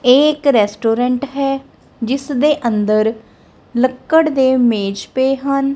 ਇਹ ਇੱਕ ਰੈਸਟੋਰੈਂਟ ਹੈ ਜਿਸ ਦੇ ਅੰਦਰ ਲੱਕੜ ਦੇ ਮੇਜ ਪਏ ਹਨ।